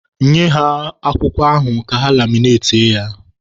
Nye ha pepa ahụ ka ha laminatie ya!